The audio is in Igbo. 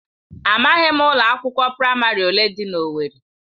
Amaghị m ụlọ akwụkwọ praịmarị ole dị na owerri.